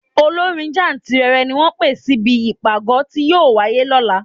Olórin jáǹtìrẹrẹ ni wọ́n pè síbi ìpàgọ́ tí yóò wáyé lọ́la.